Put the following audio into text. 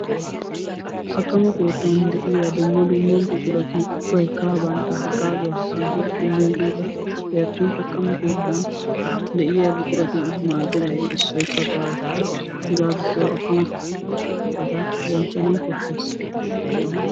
Akkammo keettan de'iya buquratti ubbay dumma dumma hagaaza immiygeattappe attin akkammo keettan de'iya buquran maadenan baawa.